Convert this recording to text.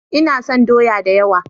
Ina son doya da yawa.